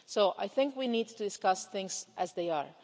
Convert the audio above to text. I think we need to discuss things as they are.